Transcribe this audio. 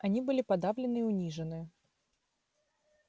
они были подавлены и унижены